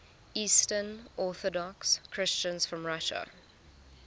eastern orthodox christians from russia